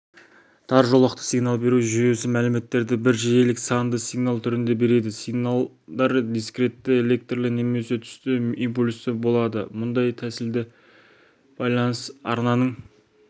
тар жолақты сигнал беру жүйесі мәліметтерді бір жиілік санды сигнал түрінде береді сигналдар дискретті электрлі немесе түсті импульсті болады мұндай тәсілде байланыс арнаның